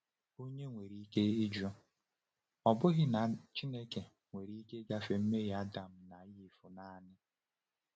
Onye nwere ike ịjụ, ‘Ọ̀ bụghị na Chineke nwere ike ịgafe mmehie Adam na Ivụ naanị?’